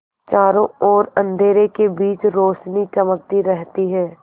चारों ओर अंधेरे के बीच रौशनी चमकती रहती है